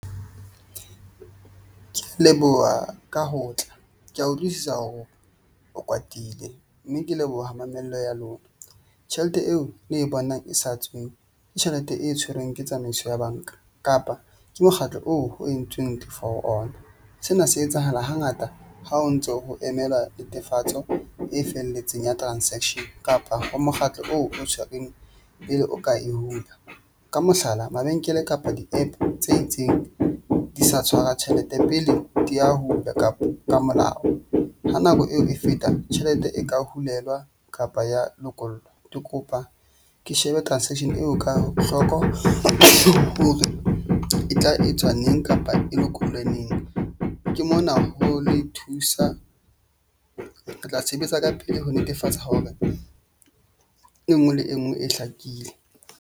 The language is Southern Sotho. Ke leboha ka ho tla ke a utlwisisa hore o kwatile mme ke leboha mamello ya lona. Tjhelete eo le e bonang e sa tswe ke tjhelete e tshwerweng ke tsamaiso ya bank-a kapa ke mokgatlo oo ho entsweng ke for ona. Sena se etsahala hangata ha o ntso ho emela netefatso e felletseng ya transaction kapa ho mokgatlo oo o tshwereng pele o ka e hula. Ka mohlala, mabenkele kapa di-app tse itseng di sa tshwara tjhelete pele di ya hulwa kapa ka molao ha nako eo e feta tjhelete e ka hulelwa kapa ya lokollwa. Ke kopa ke shebe transaction eo ka hloko hore e tla etswa neng kapa e lokollwe neng. Ke mona ho le thusa. Re tla sebetsa ka pele ho netefatsa hore e nngwe le e nngwe e hlakile.